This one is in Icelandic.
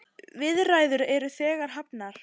Viðræður eru þegar hafnar.